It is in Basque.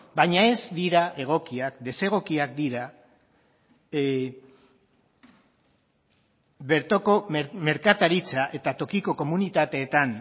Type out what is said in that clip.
baina ez dira egokiak desegokiak dira bertoko merkataritza eta tokiko komunitateetan